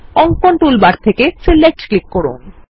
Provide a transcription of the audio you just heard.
অঙ্কন টুলবার থেকে select click করুন